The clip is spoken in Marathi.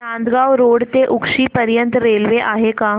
नांदगाव रोड ते उक्षी पर्यंत रेल्वे आहे का